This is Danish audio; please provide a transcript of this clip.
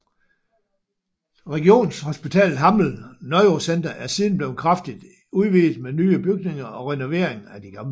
Regionshospitalet Hammel Neurocenter er siden blevet kraftigt udvidet med nye bygninger og renovering af de gamle